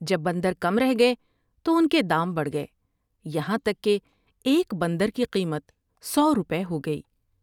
جب بندرکم رہ گئے تو ان کے دام بڑ ھ گئے یہاں تک کہ ایک بندر کی قیمت سو روپے ہوگئی ۔